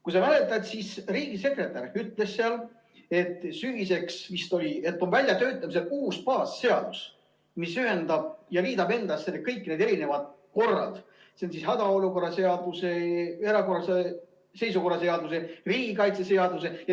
Kui sa mäletad, siis riigisekretär ütles seal, et vist sügiseks töötatakse välja uus baasseadus, mis ühendab ja liidab endas kõik need erinevad korrad – need on hädaolukorra seadus, erakorralise seisukorra seadus, riigikaitseseadus.